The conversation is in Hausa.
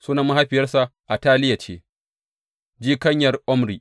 Sunan mahaifiyarsa Ataliya ce, jikanyar Omri.